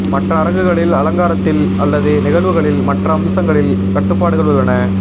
மற்ற அரங்குகளில் அலங்காரத்தில் அல்லது நிகழ்வுகளில் மற்ற அம்சங்களில் கட்டுப்பாடுகள் உள்ளன